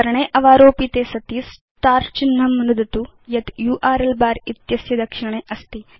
पर्णे अवारोपिते सति स्टार् चिह्नं नुदतु यत् यूआरएल बर इत्यस्य दक्षिणे अस्ति